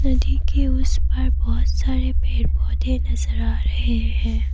नदी के उस पार बहोत सारे पेड़ पौधे नजर आ रहे हैं।